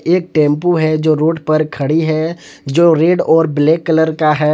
एक टेंपो है जो रोड पर खड़ी है जो रेड और ब्लैक कलर का है।